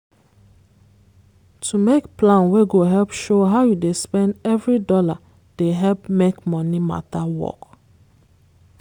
to make plan wey go help show how you dey spend every dollar dey help make money matter work.